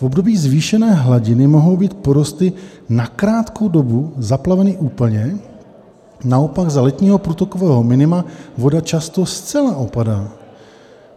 V období zvýšené hladiny mohou být porosty na krátkou dobu zaplaveny úplně, naopak za letního průtokového minima voda často zcela opadá.